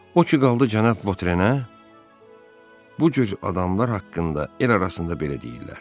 O ki qaldı cənab Votrenə, bu cür adamlar haqqında el arasında belə deyirlər: